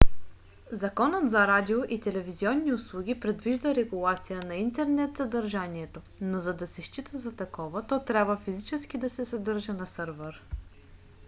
законът за радио и телевизионни услуги предвижда регулация на интернет съдържанието но за да се счита за такова то трябва физически да се съдържа на сървър